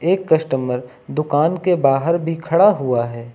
एक कस्टमर दुकान के बाहर भी खड़ा हुआ है।